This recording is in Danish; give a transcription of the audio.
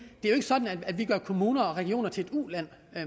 er sådan at vi gør kommuner og regioner til ulande